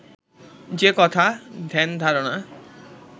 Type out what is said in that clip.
যে-কথা ধ্যানধারণা